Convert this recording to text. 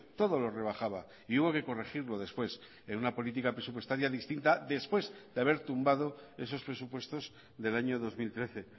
todo lo rebajaba y hubo que corregirlo después en una política presupuestaria distinta después de haber tumbado esos presupuestos del año dos mil trece